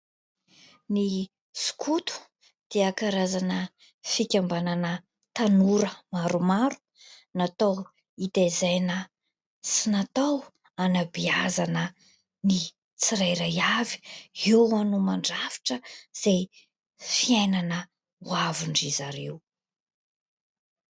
Ny sokoto dia karazana fikambanana tanora maromaro. Natao hitaizàna sy natao hanabeazana ny tsirairay avy. Eo no mandrafitra izay fiainana ho avindry zareo.